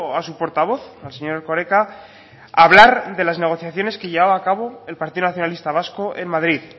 a su portavoz al señor erkoreka hablar de las negociaciones que llevaba a cabo el partido nacionalista vasco en madrid